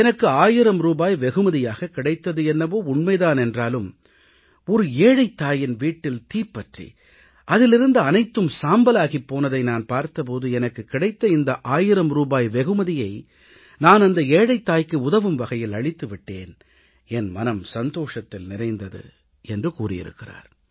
எனக்கு 1000 ரூபாய் வெகுமதியாகக் கிடைத்தது என்னவோ உண்மை தான் என்றாலும் ஒரு ஏழைத் தாயின் வீட்டில் தீப்பற்றி அதில் இருந்த அனைத்தும் சாம்பலாகிப் போனதை நான் பார்த்த போது எனக்குக் கிடைத்த இந்த 1000 ரூபாய் வெகுமதியை நான் அந்த ஏழைத் தாய்க்கு உதவும் வகையில் அளித்து விட்டேன் என் மனம் சந்தோஷத்தில் நிறைந்தது என்று கூறியிருக்கிறார்